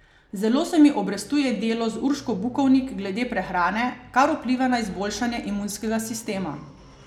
Zelo se mi obrestuje delo z Urško Bukovnik glede prehrane, kar vpliva na izboljšanje imunskega sistema.